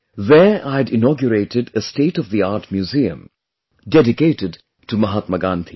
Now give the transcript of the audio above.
There I'd inaugurated a state of the art museum dedicated to Mahatma Gandhi